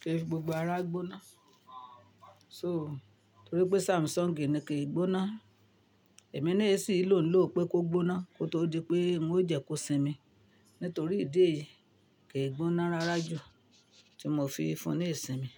kì í fi gbogbo ara gbóná. So torí pé Samsung ni kì í gbóná, èmi ni èsì ń lò ó pé kó gbóná kó tó di pé ń ó jẹ kó sinmi. Nítorí ìdí èyí kì í gbóná rárá jù tí mò fi fún ní ìsinmi.